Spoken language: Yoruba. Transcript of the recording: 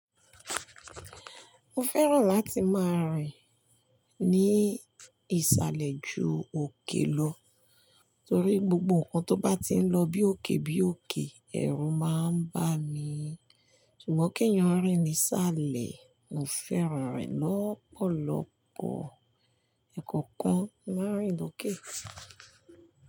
Mo fẹ́ràn láti máa rìn ní ìsàlẹ̀ ju òkè lọ, torí gbogbo nnkan tó bá ti ń lọ bí òkè bí òkè, ẹ̀rù máa ń bá mi. Ṣùgbọ́n kèèyàn rìn nìsàlẹ̀, mo fẹ́ràn e lọ́pọ̀lọpọ̀. Ẹ̀ekọ̀okan mo máa ń rìn lọ́kè.